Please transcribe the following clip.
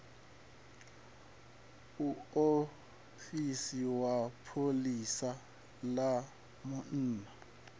muofisi wa pholisa ḽa munna